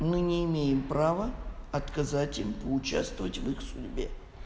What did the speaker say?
мы не имеем права отказать им поучаствовать в их судьбе